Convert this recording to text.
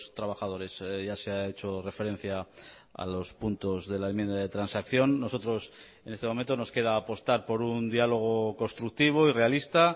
trabajadores ya se ha hecho referencia a los puntos de la enmienda de transacción nosotros en este momento nos queda apostar por un diálogo constructivo y realista